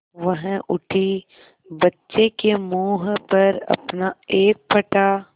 वह उठी बच्चे के मुँह पर अपना एक फटा